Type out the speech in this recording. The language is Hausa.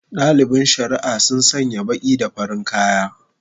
Dalibin shari'a sun sanya baki da farin kaya